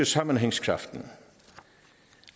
sammenhængskraften